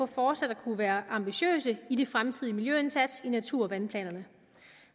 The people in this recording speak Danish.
fortsat kan være ambitiøse i de fremtidige miljøindsatser i natur og vandplanerne